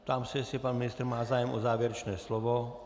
Ptám se, jestli pan ministr má zájem o závěrečné slovo.